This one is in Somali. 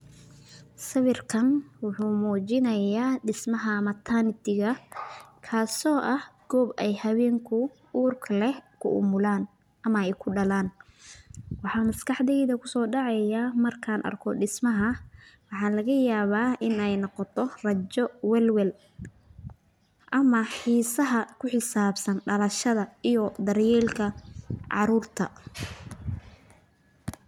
Sawirkan waxu mujinaya dismaha matanity Tika kaso aah koob oo hawenka urka leeh ku umulan, amah Aya kudalan waxa MasQaxdey kusodacaya marka arkoh dismaha waxalagayabah Ina noqotoh rajo walwel amah xisaha kuxisabsan dalshada iyo daryeelka caruurta.